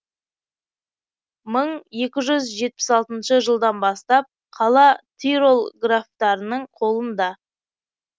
мың екі жүз жетпіс алтыншы жылдан бастап қала тирол графтарының қолында